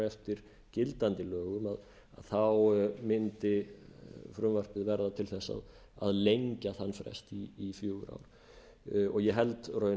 eftir gildandi lögum þá mundi frumvarpið verða til að lengja þann frest í fjögur ár ég held raunar að